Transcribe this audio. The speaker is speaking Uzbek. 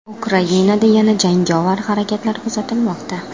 Ukrainada yana jangovar harakatlar kuzatilmoqda.